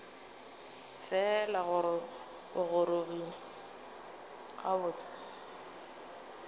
fela gore ke gorogile gabotse